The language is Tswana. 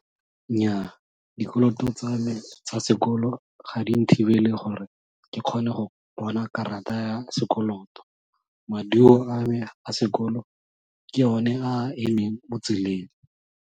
Nnyaa, dikoloto tsa me tsa sekolo ga di nthibele gore ke kgone go bona karata ya sekoloto, maduo a me a sekolo ke one a a emeng mo tseleng.